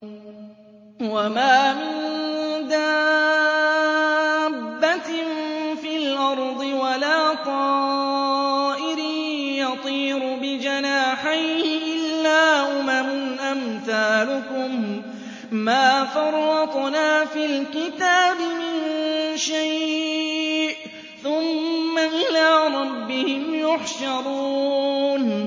وَمَا مِن دَابَّةٍ فِي الْأَرْضِ وَلَا طَائِرٍ يَطِيرُ بِجَنَاحَيْهِ إِلَّا أُمَمٌ أَمْثَالُكُم ۚ مَّا فَرَّطْنَا فِي الْكِتَابِ مِن شَيْءٍ ۚ ثُمَّ إِلَىٰ رَبِّهِمْ يُحْشَرُونَ